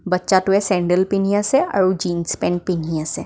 বাটচা টোৱে চেণ্ডেল পিন্ধি আছে আৰু জিন্স পেণ্ট পিন্ধি আছে.